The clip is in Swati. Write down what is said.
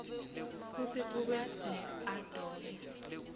kutsi ube neadobe